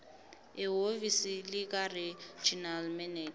ehhovisi likaregional manager